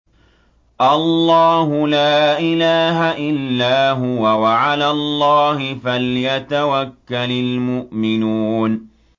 اللَّهُ لَا إِلَٰهَ إِلَّا هُوَ ۚ وَعَلَى اللَّهِ فَلْيَتَوَكَّلِ الْمُؤْمِنُونَ